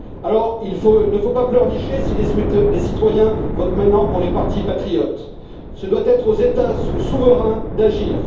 Alors, il faut ne faut pas pleurnicher si les citoyens votent maintenant pour les partis patriotes. Ce doit être aux États souverains d'agir.